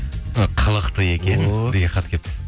ы қылықты екен деген хат келіпті